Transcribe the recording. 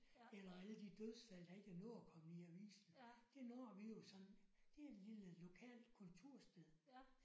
Eller alle de dødsfald der ikke er nået at kommet i avisen. Det når vi jo så det er et lille lokalt kontorsted